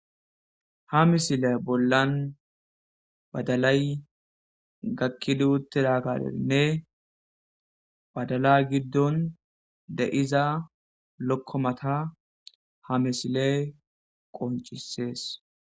ha misile bollan badalay gakkiduutte raagaleinne badala giddon de iza lokkomata ha misile qoncisees